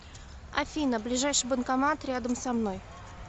афина ближайший банкомат рядом со мной